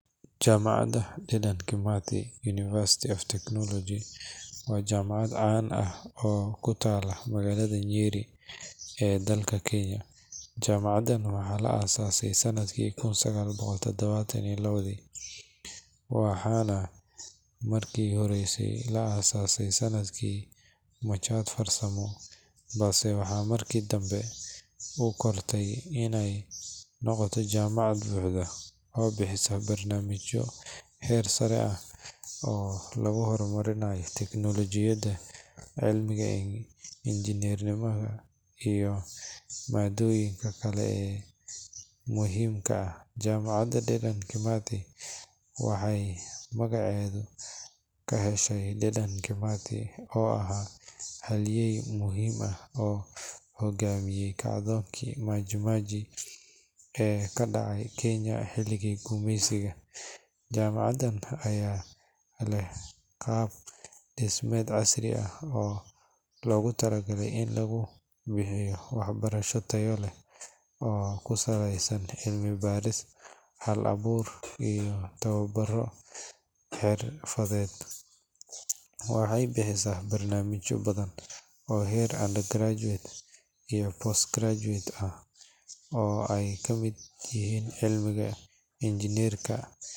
Jaamacadda Dedan Kimathi University of Technology waa jaamacad caan ah oo ku taalla magaalada Nyeri ee dalka Kenya. Jaamacaddan waxaa la aasaasay sanadkii 1972, waxaana markii hore loo aasaasay sidii machad farsamo, balse waxay markii dambe u kortay inay noqoto jaamacad buuxda oo bixisa barnaamijyo heer sare ah oo lagu horumarinayo teknoolojiyadda, cilmiga injineerinka, iyo maaddooyinka kale ee muhiimka ah. Jaamacadda Dedan Kimathi waxay magaceeda ka heshay Dedan Kimathi, oo ahaa halyeey muhiim ah oo hogaamiyay kacdoonkii Maji Maji ee ka dhacay Kenya xilligii gumeysiga. Jaamacaddan ayaa leh qaab dhismeed casri ah oo loogu talagalay in lagu bixiyo waxbarasho tayo leh oo ku saleysan cilmi-baaris, hal-abuur, iyo tababaro xirfadeed. Waxay bixisaa barnaamijyo badan oo heer undergraduate iyo postgraduate ah, oo ay ka mid yihiin cilmiga injineerinka.